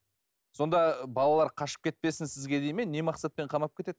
сонда балалар қашып кетпесін сізге дейді ме не мақсатпен қамап кетеді